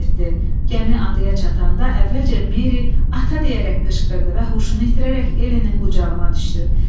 Gəmi adaya çatanda əvvəlcə Meri "Ata" deyərək qışqırdı və huşunu itirərək Elenin qucağına düşdü.